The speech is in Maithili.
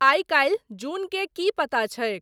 आइ काल्हि जून के की पता छैक